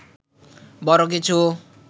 বড় কিছু